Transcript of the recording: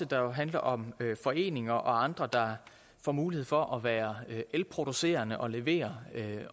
der handler om foreninger og andre der får mulighed for at være elproducerende og levere